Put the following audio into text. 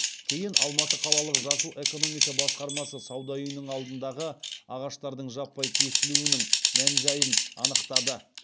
кейін алматы қалалық жасыл экономика басқармасы сауда үйінің алдындағы ағаштардың жаппай кесілуінің мән жайын анықтады